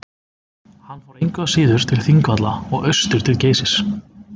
hann fór engu að síður til þingvalla og austur til geysis